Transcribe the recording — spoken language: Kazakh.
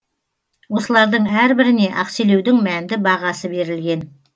осылардың әрбіріне ақселеудің мәнді бағасы берілген